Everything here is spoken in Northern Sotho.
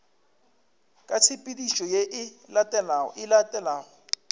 ka tshepedišo ye e latelago